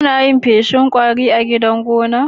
Anayin feshin kwari a gidan gona?